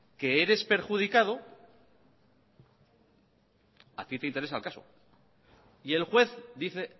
que eres perjudicado a tí te interesa el caso y el juez dice